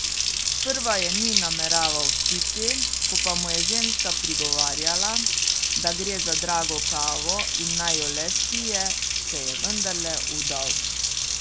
Sprva je ni nameraval spiti, ko pa mu je ženska prigovarjala, da gre za drago kavo in naj jo le spije, se je vendarle vdal.